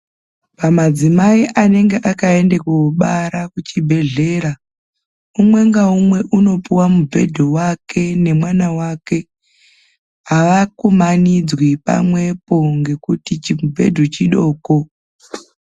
Pamadzimai anenge akaende koobara kuchibhedhlera, umwe ngaumwe unopuwa mubhedhu wake ngemwana wake. Havakumanidzwi pamwepo ngekuti chimubhedhu chidoko.